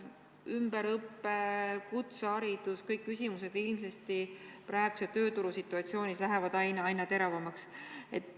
Ümberõpe, kutseharidus – kõik küsimused praeguse tööturu situatsioonis lähevad ilmselt aina teravamaks.